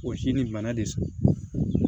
O si nin bana de